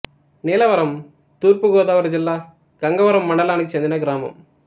నీలవరం తూర్పు గోదావరి జిల్లా గంగవరం మండలానికి చెందిన గ్రామం